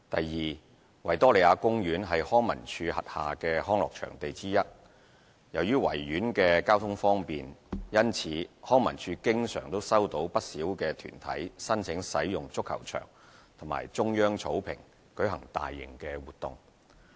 二維多利亞公園是康文署轄下的康樂場地之一。由於維園交通方便，因此康文署經常收到不少團體申請使用足球場或中央草坪舉行大型活動。